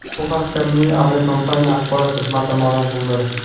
Bu haqda Milliya aviakompaniya axborot xizmati ma’lum qildi .